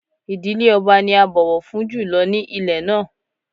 Ìdílé ọba ni a bọ̀wọ̀ fún jù lọ ní ilẹ̀ náà